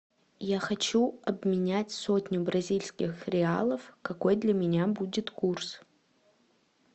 я хочу обменять сотню бразильских реалов какой для меня будет курс